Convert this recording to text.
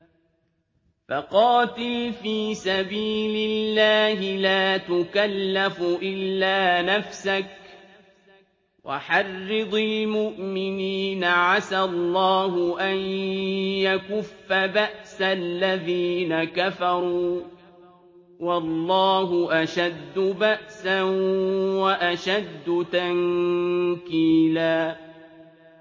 فَقَاتِلْ فِي سَبِيلِ اللَّهِ لَا تُكَلَّفُ إِلَّا نَفْسَكَ ۚ وَحَرِّضِ الْمُؤْمِنِينَ ۖ عَسَى اللَّهُ أَن يَكُفَّ بَأْسَ الَّذِينَ كَفَرُوا ۚ وَاللَّهُ أَشَدُّ بَأْسًا وَأَشَدُّ تَنكِيلًا